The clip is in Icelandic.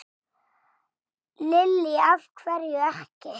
Lillý: Af hverju ekki?